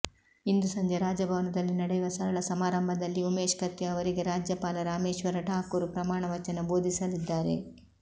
ಇಂದು ಸಂಜೆ ರಾಜಭವನದಲ್ಲಿ ನಡೆಯುವ ಸರಳ ಸಮಾರಂಭದಲ್ಲಿ ಉಮೇಶ್ ಕತ್ತಿ ಅವರಿಗೆ ರಾಜ್ಯಪಾಲ ರಾಮೇಶ್ವರ ಠಾಕೂರ್ ಪ್ರಮಾಣ ವಚನ ಬೋಧಿಸಲಿದ್ದಾರೆ